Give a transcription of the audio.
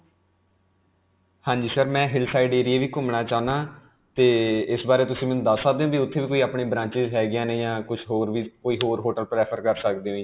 ਹਾਂਜੀ sir, ਮੈਂ hill side area ਵੀ ਘੁਮਣਾ ਚਾਹੁੰਦਾ ਹਾਂ, 'ਤੇ ਇਸ ਬਾਰੇ ਤੁਸੀਂ ਮੈਨੂੰ ਦਸ ਸਕਦੇ ਹੋ ਕਿ ਉਥੇ ਵੀ ਆਪਣੀਆਂ branches ਹੈ ਗਿਆਂ ਨੇ ਜਾਂ ਫਿਰ ਕੁਝ ਹੋਰ ਵੀ, ਜਾਂ ਕੋਈ ਹੋਰ hotel prefer ਕਰ ਸਕਦੇ ਜੋ ਜੀ.